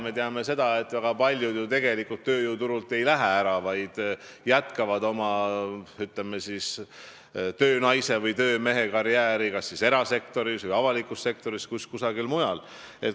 Me teame, et väga paljud ju tööjõuturult ära ei lähe, vaid jätkavad oma töönaise või töömehe karjääri kas erasektoris või avalikus sektoris, igatahes kusagil mujal.